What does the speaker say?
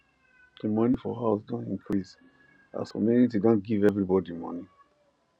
the money for house don increase as community don give everybody money